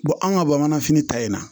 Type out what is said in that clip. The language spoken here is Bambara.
anw ka bamananfini ta in na